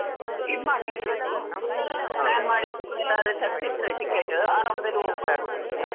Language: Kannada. ಇದ್ ಮಾಡಿ ಇಡ್ಬೇಕು, plan ಮಾಡಿ ಎಲ್ಲರೂ ತೆಗ್ದ್ ಇಟ್ರೆ ticket ಅರಾಮ್ ದಲ್ಲಿ ಹೋಗ್ ಬರ್ಬೋದು ಮತ್ತೆ.